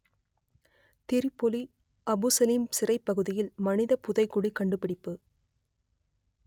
Tripoli Abu Salim சிறைப் பகுதியில் மனிதப் புதைகுழி கண்டுபிடிப்பு